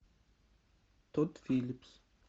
тодд филлипс